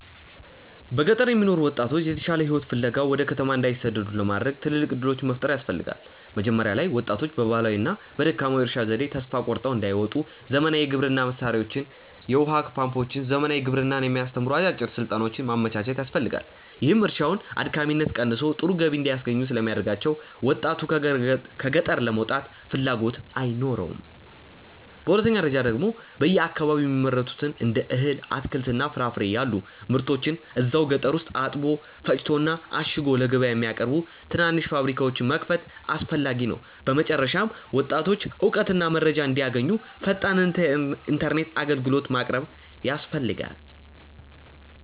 በገጠር የሚኖሩ ወጣቶች የተሻለ ሕይወት ፍለጋ ወደ ከተማ እንዳይሰደዱ ለማድረግ ትልልቅ ዕድሎች መፍጠር ያስፈልጋ። መጀመሪያ ላይ ወጣቶች በባህላዊውና በደካማው የእርሻ ዘዴ ተስፋ ቆርጠው እንዳይወጡ ዘመናዊ የግብርና መሣሪያዎችን፣ የውኃ ፓምፖችንና ዘመናዊ ግብርናን የሚያስተምሩ አጫጭር ሥልጠናዎችን ማመቻቸት ያስፈልጋል፤ ይህም እርሻውን አድካሚነቱ ቀንሶ ጥሩ ገቢ እንዲያስገኝ ስለሚያደርጋቸው ወጣቱ ከገጠር ለመውጣት ፍላጎት አይኖረውም። በሁለተኛ ደረጃ ደግሞ በየአካባቢው የሚመረቱትን እንደ እህል፣ አትክልትና ፍራፍሬ ያሉ ምርቶችን እዛው ገጠር ውስጥ አጥቦ፣ ፈጭቶና አሽጎ ለገበያ የሚያቀርቡ ትናንሽ ፋብሪካዎችን መክፈት አስፈላጊ ነው። በመጨረሻም ወጣቶች እውቀትና መረጃ እንዲያገኙ ፈጣን ኢተርኔት አግልግሎት ማቅረብ ያስፈልጋል